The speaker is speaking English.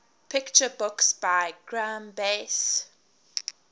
picture books by graeme base